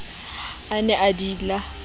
a ne a di ila